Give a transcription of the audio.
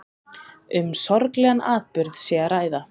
Um sorglegan atburð sé að ræða